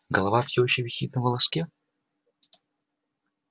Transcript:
голова всё ещё висит на волоске